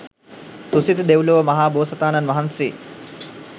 තුසිත දෙව්ලොව මහා බෝසතාණන් වහන්සේ